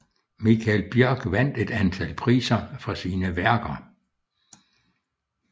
Michael Bjørk vandt et antal priser for sine værker